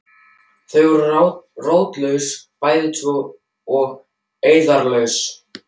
Þau eru svo rótlaus bæði tvö og eirðarlaus.